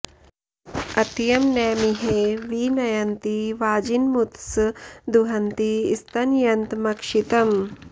अत्यं॒ न मि॒हे वि न॑यन्ति वा॒जिन॒मुथ्सं॑ दुहन्ति स्त॒नय॑न्त॒मक्षि॑तम्